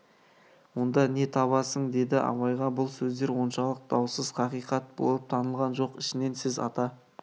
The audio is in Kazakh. онда не табасын деді абайға бұл сөздер оншалық даусыз хақиқат болып танылған жоқ ішінен сіз ата